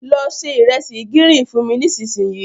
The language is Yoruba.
Lọ se ìresì gírín-ìn fún mi nísinsìnyí.